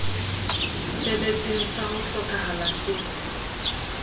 feletseng sa ho hlokahala se